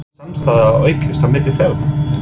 Er samstarfið að aukast á milli félaganna?